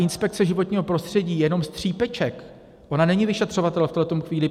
Inspekce životního prostředí je jenom střípeček, ona není vyšetřovatel v tuhle chvíli.